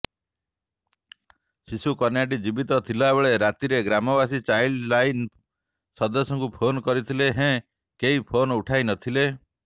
ଶିଶୁକନ୍ୟାଟି ଜୀବିତ ଥିବାବେଳେ ରାତିରେ ଗ୍ରାମବାସୀ ଚାଇଲ୍ଡ ଲାଇନ ସଦସ୍ୟଙ୍କୁ ଫୋନ୍ କରିଥିଲେ ହେଁ କେହି ଫୋନ୍ ଉଠାଇନଥିଲେ